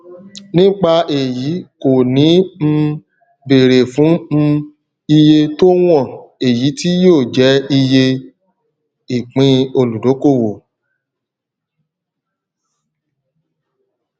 nípa èyí kò ní um bèrè fún um iye tó wọn èyí tí yóò jẹ iye ìpín olùdókòwò